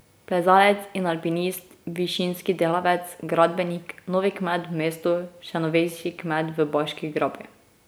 Plezalec in alpinist, višinski delavec, gradbenik, novi kmet v mestu, še novejši kmet v Baški grapi ...